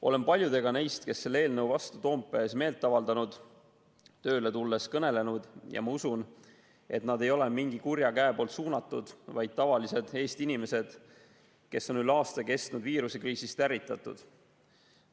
Olen paljudega neist, kes selle eelnõu vastu Toompea ees meelt avaldasid, tööle tulles kõnelenud ja ma usun, et neid ei ole suunanud mingi kuri käsi, vaid nad on tavalised Eesti inimesed, kes on üle aasta kestnud viirusekriisist ärritatud.